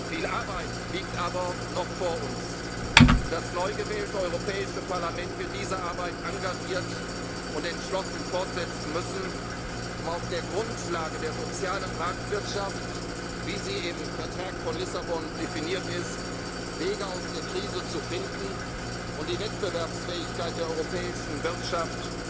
gesetzt. Viel Arbeit liegt aber noch vor uns, und das neu gewählte Europäische Parlament wird diese Arbeit engagiert und entschlossen fortsetzen müssen, um auf der Grundlage der sozialen Marktwirtschaft, wie sie im Vertrag von Lissabon definiert ist, Wege aus der Krise zu finden und die Wettbewerbsfähigkeit der europäischen